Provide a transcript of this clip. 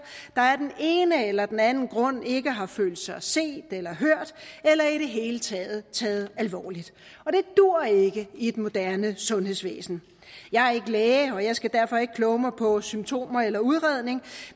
der er af den ene eller den anden grund ikke har følt sig set eller hørt eller i det hele taget taget alvorligt og det duer ikke i et moderne sundhedsvæsen jeg er ikke læge og jeg skal derfor ikke kloge mig på symptomer eller udredning